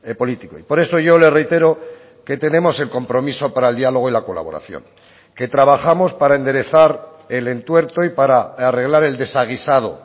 político y por eso yo le reitero que tenemos el compromiso para el dialogo y la colaboración que trabajamos para enderezar el entuerto y para arreglar el desaguisado